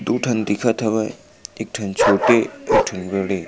दू ठन दिखत हवे एक ठन छोटे एक ठन बड़े --